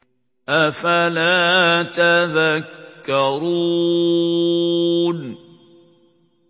أَفَلَا تَذَكَّرُونَ